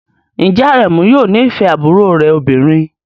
Ǹjẹ́ Aremu yóò nífẹ̀ẹ́ àbúrò rẹ̀ obìnrin?